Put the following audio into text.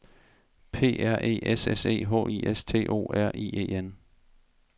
P R E S S E H I S T O R I E N